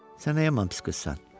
Sən nə yaman pis qızsan?